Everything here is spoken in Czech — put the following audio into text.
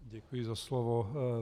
Děkuji za slovo.